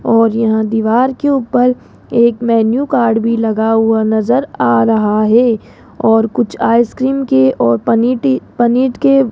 और यहां दीवार की ऊपर एक मेन्यू कार्ड भी लगा हुआ नजर आ रहा है और कुछ आइसक्रीम के और पनीर टी पनीट के--